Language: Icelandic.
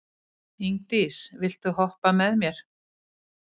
Ingdís, viltu hoppa með mér?